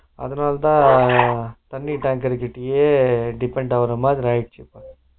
அதனாலதா தண்ணீர்தாங்கள் கிட்டயே depend ஆகுரமாதிரி ஆகிருச்சு